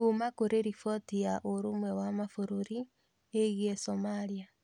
Kuma kũrĩ riboti ya ũrũmwe wa mabũrũri ĩgiĩ Somalia.